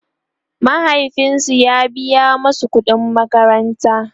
mahaifinsu ya biya masu ƙuɗin makaranta